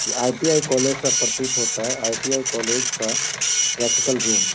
इ ITI. College सब प्रतीत होता हैं आई.टी.आई. कॉलेज का प्रैक्टिकल रूम --